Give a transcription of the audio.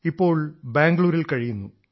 ഇപ്പോൾ ബംഗളൂരുവിൽ കഴിയുന്നു